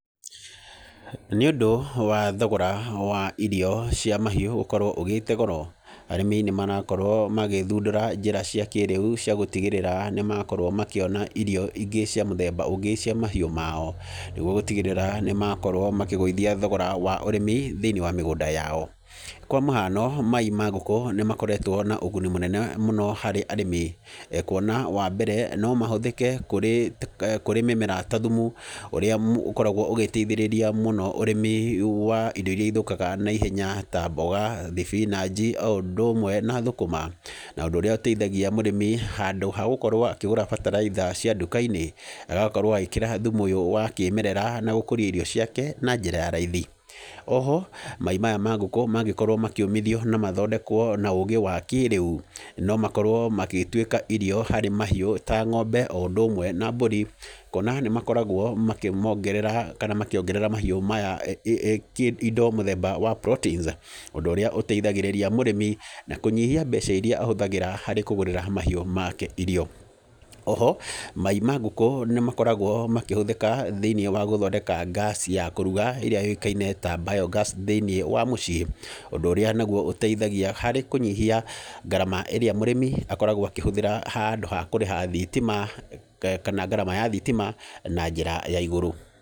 Nĩ ũndũ wa thogora wa irio cia mahiũ gũkorwo ũgĩte goro, arĩmi nĩ marakorwo magĩthundũra njĩra cia kĩrĩu cia gũtigĩrĩra nĩ makorwo makĩona irio ingĩ cia mũthemba ũngĩ cia mahiũ mao. Nĩguo gũtigĩrĩra nĩ makorwo makĩgũithia thogora wa ũrĩmi thĩiniĩ wa mĩgũnda yao. Kwa mũhano, mai ma ngũkũ nĩ makoretwo na ũguni mũnene mũno harĩ arĩmi, kuona wa mbere, no mahũthĩke kũrĩ kũrĩ mĩmera ta thumu, ũrĩa ũkoragwo ũgĩteithĩrĩria mũno ũrĩmi wa indo irĩa ithũkaga naihenya ta mbũga, thibinanji, o ũndũ ũmwe na thũkũma. Na ũndũ ũrĩa ũteithagia mũrĩmi handũ ha gũkorwo akĩgũra bataraitha cia nduka-inĩ, agakorwo agĩkĩra thumu ũyũ wa kĩmerera na gũkũria irio ciake na njĩra ya raithi. Oho, mai maya ma ngũkũ mangĩkorwo makĩũmithio na mathondekwo na ũũgĩ wa kĩrĩu, no makorwo magĩtuĩka irio harĩ mahiũ ta ng'ombe o ũndũ ũmwe nambũri, kuona nĩ makoragwo makĩmongerera kana makĩongerera mahiũ maya indo mũthemba wa proteins. Ũndũ ũrĩa ũteithagĩrĩria mũrĩmi, na kũnyihia mbeca irĩa ahũthagĩra harĩ kũgũrĩra mahiũ make irio. Oho, mai ma ngũkũ nĩ makoragwo makĩhũthĩka thĩiniĩ wa gũthondeka ngaci ya kũruga ĩrĩa yũĩkaine ta bio-gas thĩiniĩ wa mũciĩ, ũndũ ũrĩa naguo ũteithagia harĩ kũnyihia ngarama ĩrĩa mũrĩmi akoragwo akĩhũthĩra handũ ha kũrĩha thitima, kana ngarama ya thitima, na njĩra ya igũrũ.